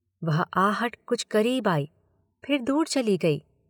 वह आहट कुछ करीब आई, फिर दूर चली गई।